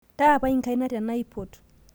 Taapai nkaina tenaipot